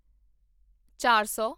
ਚਾਰ ਸੌ